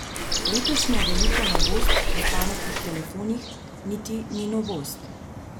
Letošnja velika novost v pametnih telefonih niti ni novost.